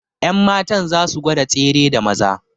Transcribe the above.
Yanmatan za su gwada tsere da Maza